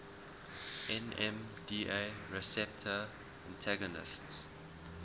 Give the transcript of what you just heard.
nmda receptor antagonists